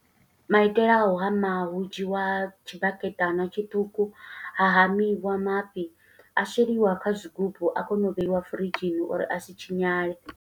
Maitele a u hama, hu dzhiwa tshibaketana tshiṱuku, ha hamiwa mafhi, a sheliwa kha zwigubu a kona u vheiwa firidzhini uri a si tshinyale.